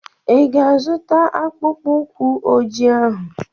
I ga-azụta akpụkpọ ụkwụ ojii ahụ?